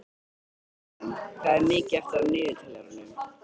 Sigjón, hvað er mikið eftir af niðurteljaranum?